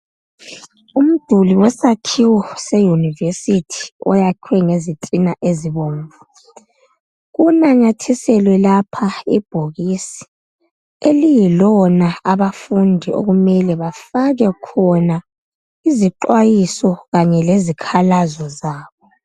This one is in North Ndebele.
Umduli wesakhiwo seYunivesithi oyakhwe ngezitina ezibomvu kunanyathiselwe lapha ibhokisi eliyilona abafundi okumele bafake khona izixwayiso kanye lezikhalazo zabo.